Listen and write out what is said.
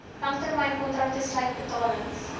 langtermynkontrakte sluit betalings